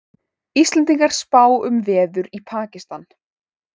Íslendingar spá um veður í Pakistan